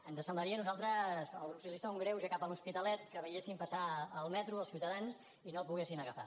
ens semblaria a nosaltres al grup socialista un greuge cap a l’hospitalet que veies sin passar el metro els ciutadans i no el poguessin agafar